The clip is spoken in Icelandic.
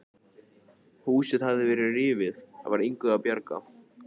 Húsið hafði verið rifið, það var engu að bjarga.